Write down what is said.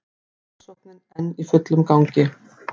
Rannsóknin enn í fullum gangi